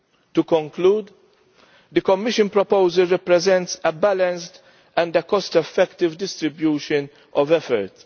To conclude, the Commission proposal represents a balanced and a cost effective distribution of effort.